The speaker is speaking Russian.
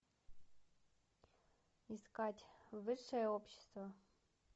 искать высшее общество